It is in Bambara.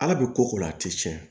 Ala bɛ ko ko la a tɛ tiɲɛ